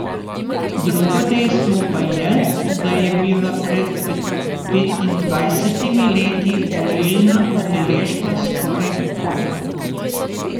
Drugo dejstvo pa je, da je bila pred petindvajsetimi leti volilna udeležba skoraj popolna.